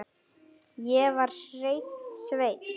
Ég var hreinn sveinn.